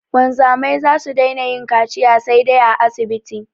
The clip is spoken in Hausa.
Wanzamai za su daina yin kaciya saidai a asibiti